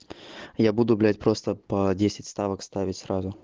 я буду блять просто по десять ставок ставить просто